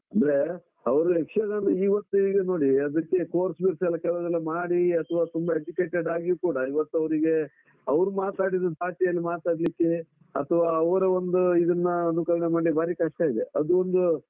ಅಂದ್ರೆ ಅವರು ಯಕ್ಷಗಾನ ಇವತ್ತು ಈಗ ನೋಡಿ, ಅದಿಕ್ಕೆ course ಗಿರ್ಸ್ ಎಲ್ಲ ಕೆಲವುದೆಲ್ಲ ಮಾಡಿ ಅಥವಾ ತುಂಬಾ educated ಆಗಿ ಕೂಡ, ಇವತ್ತು ಅವರಿಗೆ ಅವ್ರು ಮಾತಾಡಿದ ಭಾ ಷೆಯಲ್ಲಿ ಮಾತಾಡ್ಲಿಕ್ಕೆ ಅಥವಾ ಅವರ ಒಂದು ಇದನ್ನ ಅನುಕರಣೆ ಮಾಡಿ ಬಾರಿ ಕಷ್ಟ ಇದೆ ಅದು ಒಂದು,